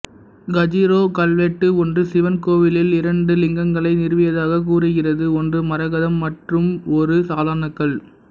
கஜுராஹோ கல்வெட்டு ஒன்று சிவன் கோவிலில் இரண்டு லிங்கங்களை நிறுவியதாக கூறுகிறது ஒன்று மரகதம் மற்றும் ஒரு சாதாரண கல்